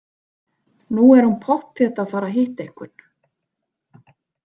Nú er hún pottþétt að fara að hitta einhvern.